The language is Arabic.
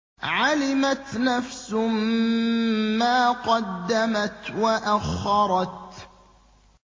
عَلِمَتْ نَفْسٌ مَّا قَدَّمَتْ وَأَخَّرَتْ